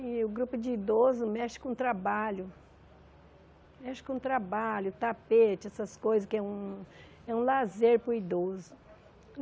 E o grupo de idoso mexe com o trabalho, mexe com o trabalho, tapete, essas coisas que é um é um lazer para o idoso.